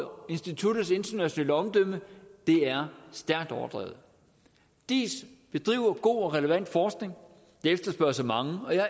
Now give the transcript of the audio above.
over instituttets internationale omdømme er stærkt overdrevet diis bedriver god og relevant forskning og efterspørges af mange og jeg